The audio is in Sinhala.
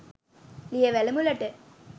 ලියවැල මුලට